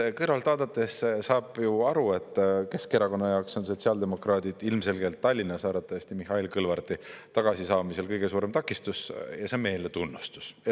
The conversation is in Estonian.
Eks kõrvalt vaadates saab ju aru, et Keskerakonna jaoks on sotsiaaldemokraadid ilmselgelt Tallinnas arvatavasti Mihhail Kõlvarti tagasisaamisel kõige suurem takistus ja see on meile tunnustus.